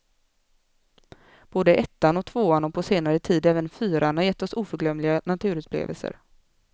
Både ettan och tvåan och på senare tid även fyran har gett oss oförglömliga naturupplevelser.